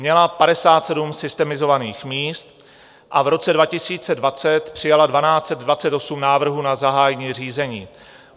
Měla 57 systemizovaných míst, v roce 2020 přijala 1 228 návrhů na zahájení řízení.